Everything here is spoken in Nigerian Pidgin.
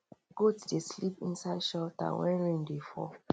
goat dey sleep inside shelter when rain dey fall